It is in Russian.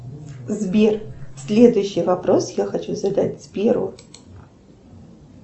сбер следующий вопрос я хочу задать сберу